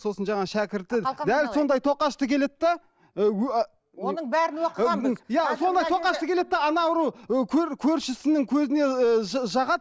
сосын жаңағы шәкірті дәл сондай тоқашты келеді де оның бәрін оқығанбыз иә сондай тоқашты келеді де ана біреу көршісінің көзіне ы жағады